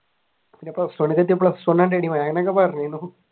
പിന്നെ plus one ലേക്ക് എത്തിയപ്പോൾ plus one ആണ് എന്നൊക്കെ പറഞ്ഞിരുന്നു.